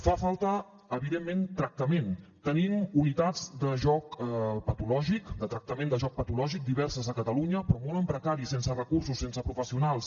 fa falta evidentment tractament tenim unitats de joc patològic de tractament de joc patològic diverses a catalunya però molt en precari sense recursos sense professionals